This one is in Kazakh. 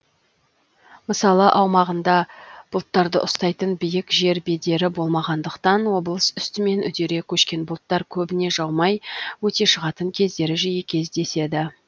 мысалы аумағында бұлттарды ұстайтын биік жер бедері болмағандықтан облыс үстімен үдере көшкен бұлттар көбіне жаумай өте шығатын кездері жиі кездеседі